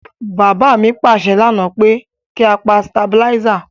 Bàbá mi pàsẹ lánáà pe ki a pa stabilizer